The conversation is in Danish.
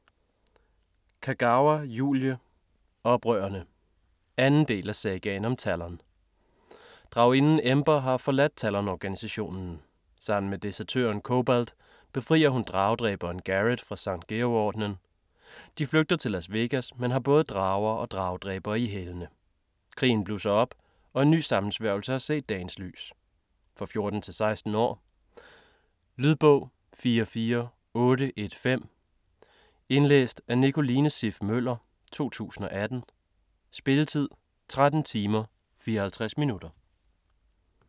Kagawa, Julie: Oprørerne 2. del af Sagaen om Talon. Draginden Ember har forladt Talon-organisationen. Sammen med desertøren Cobalt, befrier hun dragedræberen Garret fra Sankt Georg-ordenen. De flygter til Las Vegas, men har både drager og dragedræbere i hælene. Krigen blusser op og en ny sammensværgelse har set dagens lys. For 14-16 år. Lydbog 44815 Indlæst af Nicoline Siff Møller, 2018. Spilletid: 13 timer, 54 minutter.